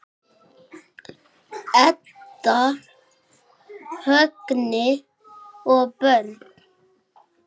Edda, Högni og börn.